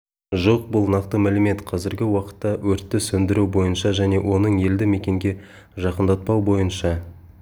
жоқ бұл нақты мәлімет қазіргі уақытта өртті сөндіру бойынша және оның елді мекенге жақындатпау бойынша